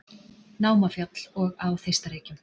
Námafjall og á Þeistareykjum.